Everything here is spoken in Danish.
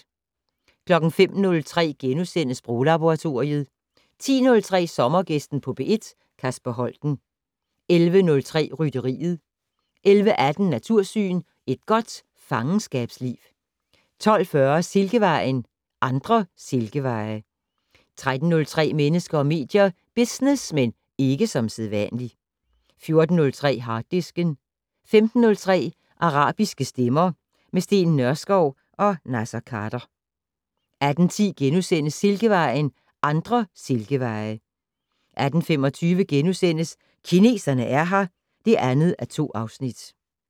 05:03: Sproglaboratoriet * 10:03: Sommergæsten på P1: Kasper Holten 11:03: Rytteriet 11:18: Natursyn: Et godt fangenskabsliv 12:40: Silkevejen: Andre Silkeveje 13:03: Mennesker og medier: Business - men ikke som sædvanligt 14:03: Harddisken 15:03: Arabiske stemmer - med Steen Nørskov og Naser Khader 18:10: Silkevejen: Andre Silkeveje * 18:25: Kineserne er her (2:2)*